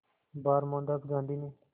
बार मोहनदास गांधी ने